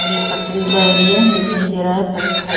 और ये पथरीला एरिया है दिखाई दे रहा है पत्थर --